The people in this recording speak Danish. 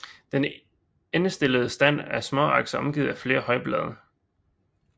Den endestillede stand af småaks er omgivet af flere højblade